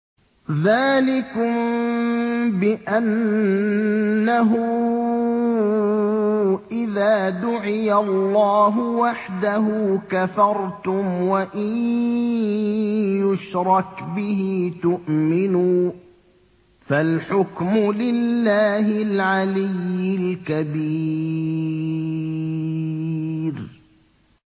ذَٰلِكُم بِأَنَّهُ إِذَا دُعِيَ اللَّهُ وَحْدَهُ كَفَرْتُمْ ۖ وَإِن يُشْرَكْ بِهِ تُؤْمِنُوا ۚ فَالْحُكْمُ لِلَّهِ الْعَلِيِّ الْكَبِيرِ